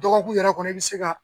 Dɔgɔkun yɛrɛ kɔnɔ i bɛ se ka